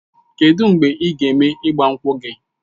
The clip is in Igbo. Kedụ mgbe ị ga-eme ịgbankwu gị?